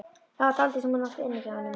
Það var dálítið sem hún átti inni hjá honum.